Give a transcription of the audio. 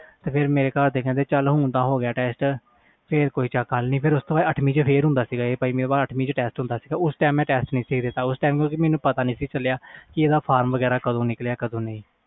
ਫਿਰ ਮੇਰੇ ਘਰ ਦੇ ਕਹਿੰਦੇ ਚਲ ਹੁਣ ਹੋ ਗਿਆ ਟੈਸਟ ਫਿਰ ਪੰਜਵੀ ਤੋਂ ਬਾਅਦ ਅੱਠਵੀ ਵਿਚ ਫਿਰ ਹੁੰਦਾ ਸੀ ਟੈਸਟ ਉਸ time ਮੈਂ ਟੈਸਟ ਨਹੀਂ ਦਿੱਤਾ ਸੀ ਉਸ time ਪਤਾ ਨਹੀਂ ਲਗਾ ਕਿ ਕਦੋ ਨਿਕਲਿਆ ਫਾਰਮ